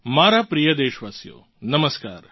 મારા પ્રિય દેશવાસીઓ નમસ્કાર